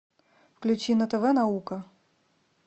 включи на тв наука